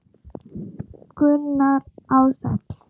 Gunnar Ársæll.